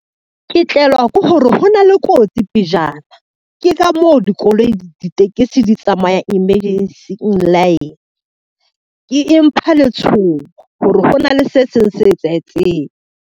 Ke tlelwa ke hore hona le kotsi pejana, ke ka moo di ditekesi di tsamaya empha letshoho, hore ho na le se seng se etsahetseng.